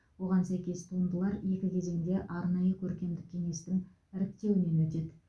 оған сәйкес туындылар екі кезеңде арнайы көркемдік кеңестің іріктеуінен өтеді